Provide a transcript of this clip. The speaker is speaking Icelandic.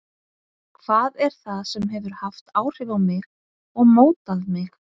Hvað er það sem hefur haft áhrif á mig og mótað mig?